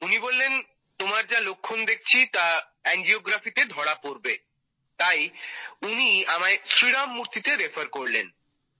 উনি বললেন তোমার যা লক্ষণ দেখছি তা এনজিওগ্রাফিতে ধরা পড়বে তাই উনি আমায় শ্রীরাম মূর্তি তে রেফার করলেন